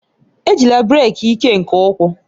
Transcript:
Ejila brek ike nke ukwuu!